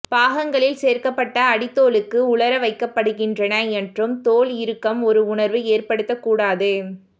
பாகங்களில் சேர்க்கப்பட்ட அடித்தோலுக்கு உலர வைக்கப்படுகின்றன மற்றும் தோல் இறுக்கம் ஒரு உணர்வு ஏற்படுத்த கூடாது